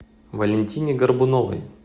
валентине горбуновой